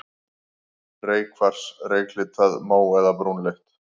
Reykkvars, reyklitað, mó- eða brúnleitt.